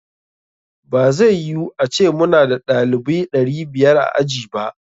Ba zai yu ace muna da ɗalibaui ɗari biyar a aji ba.